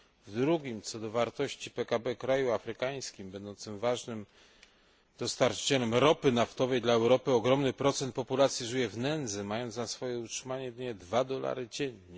W drugim co do wartości PKB kraju afrykańskim, będącym ważnym dostarczycielem ropy naftowej dla Europy, ogromny procent populacji żyje w nędzy, mając na swoje utrzymanie zaledwie dwa dolary dziennie.